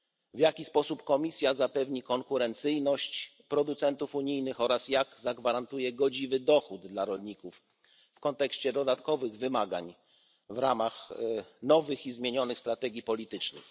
W jaki sposób Komisja zapewni konkurencyjność producentów unijnych oraz zagwarantuje godziwy dochód dla rolników w kontekście dodatkowych wymagań wynikających z nowych i zmienionych strategii politycznych?